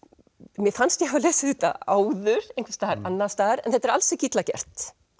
mér fannst ég hafa lesið þetta áður einhvers staðar annars staðar en þetta er alls ekki illa gert